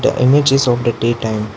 The image is of the day time.